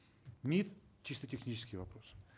мид чисто технический вопрос